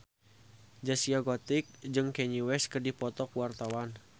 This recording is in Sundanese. Zaskia Gotik jeung Kanye West keur dipoto ku wartawan